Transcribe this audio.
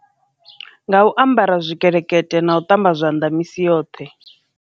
Nga u ambara zwikelekete na u ṱamba zwanḓa misi yoṱhe.